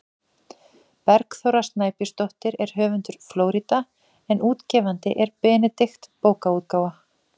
Bergþóra Snæbjörnsdóttir er höfundur „Flórída“ en útgefandi er Benedikt bókaútgáfa.